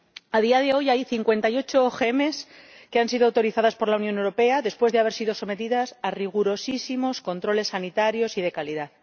A día de hoy, hay cincuenta y ocho OMG que han sido autorizados por la Unión Europea, después de haber sido sometidos a rigurosísimos controles sanitarios y de calidad.